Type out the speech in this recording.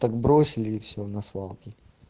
так бросили всё на свалке